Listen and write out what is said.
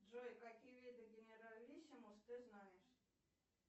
джой какие виды генералиссимус ты знаешь